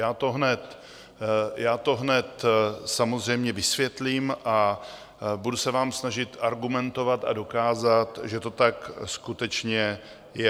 Já to hned samozřejmě vysvětlím a budu se vám snažit argumentovat a dokázat, že to tak skutečně je.